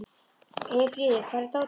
Eyfríður, hvar er dótið mitt?